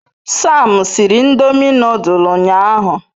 Sam siri ndomi nodul unyahu